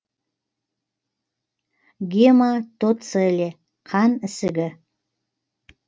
гематоцеле қан ісігі